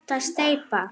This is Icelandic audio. Ekki hægt að steypa.